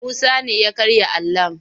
Musa ne ya karya alon.